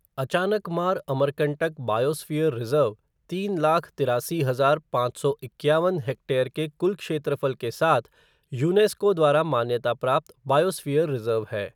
Achanakmar Amarkantak biosphere reserve तीन लाख तिरासी हज़ार पाँच सौ इक्यावन हेक्टेयर के कुल क्षेत्रफल के साथ यूनेस्को द्वारा मान्यता प्राप्त बायोस्फ़ियर रिजर्व है।